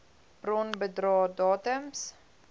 bron bedrae datums